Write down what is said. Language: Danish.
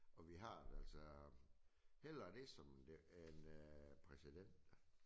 Og vi har altså hellere det som det en øh president